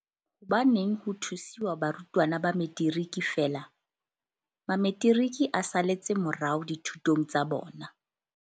Hobaneng ho thusiwa barutwana ba Metiriki feela? Mametiriki a saletse morao dithutong tsa bona.